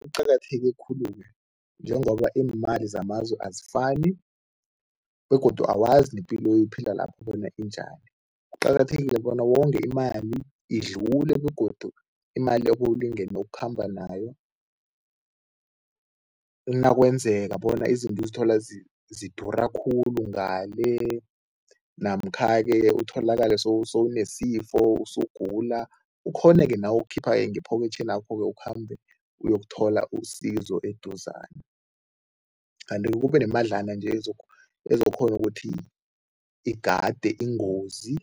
Kuqakatheke khulu-ke njengoba iimali zamazwe azifani begodu awazi nepilo oyiphila lapho bona injani. Kuqakathekile bona wonge imali, idlule begodu imali ebewulingene ukukhamba nayo, nakwenzeka bona izinto uzithola zidura khulu ngale namkha-ke utholakale sowunesifo usugula ukghone-ke nawe ukukhipha-ke ngephokethenakho-ke ukhambe uyokuthola usizo eduzane kanti kube nemadlana nje ezokukghona ukuthi igade ingozi